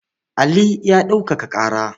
Ali ya ɗaukaka ƙara.